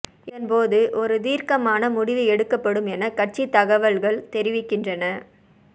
இதன்போது ஒரு தீர்க்கமான முடிவு எடுக்கப்படும் என கட்சி தகவல்கள் தெரிவிக்கின்றன